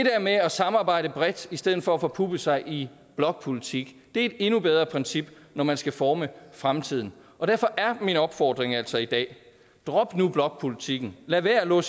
med at samarbejde bredt i stedet for at forpuppe sig i blokpolitik er et endnu bedre princip når man skal forme fremtiden og derfor er min opfordring altså i dag drop nu blokpolitikken lad være med at